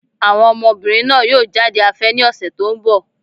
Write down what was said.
Àwọn ọmọbìnrin náà yóò jáde afẹ́ ní ọ̀sẹ̀ tó ń bọ̀.